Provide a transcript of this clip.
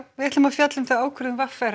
við ætlum að fjalla um ákvörðun v r